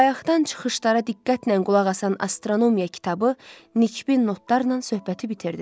Bayaqdan çıxışlara diqqətlə qulaq asan astronomiya kitabı nikbin notlarla söhbəti bitirdi.